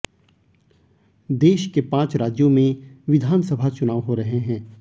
देश के पांच राज्यों में विधानसभा चुनाव हो रहे हैं